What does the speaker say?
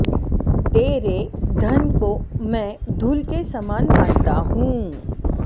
तेरे धन को मैं धूल के समान मानता हूं